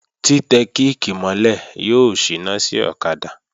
Tí tẹ kíìkì mọ́ lẹ̀ yóò síná sí ọ̀kadà